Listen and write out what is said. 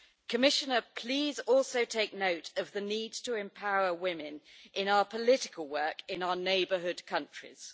Commissioner, please also take note of the need to empower women in our political work in our neighbourhood countries.